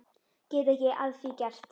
Get ekki að því gert.